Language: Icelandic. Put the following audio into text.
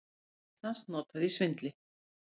Nafn Íslands notað í svindli